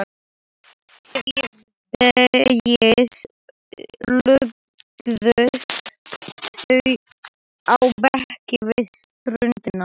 Síðdegis lögðust þau á bekki við ströndina.